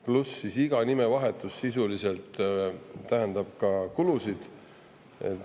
Samuti tähendab iga nimevahetus sisuliselt kulusid.